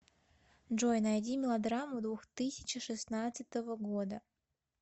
джой найди мелодраму двухтысячи шестнадцатого года